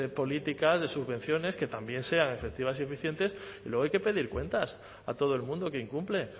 políticas de subvenciones que también sean efectivas y eficientes y luego hay que pedir cuentas a todo el mundo que incumple